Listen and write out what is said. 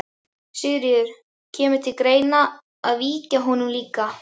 Sigríður: Kemur til greina að víkja honum líka?